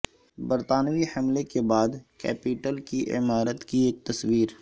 برطانوی حملے کے بعد کیپیٹل کی عمارت کی ایک تصویر